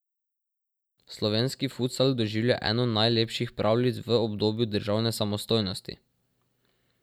Slovenski futsal doživlja eno najlepših pravljic v obdobju državne samostojnosti.